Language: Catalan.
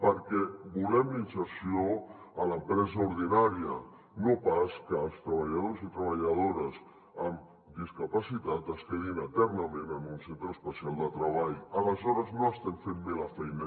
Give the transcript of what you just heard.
perquè volem la inserció a l’empresa ordinària no pas que els treballadors i treballadores amb discapacitat es quedin eternament en un centre especial de treball aleshores no estem fent bé la feina